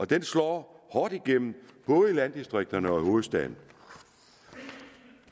den slår hårdt igennem både i landdistrikterne og i hovedstaden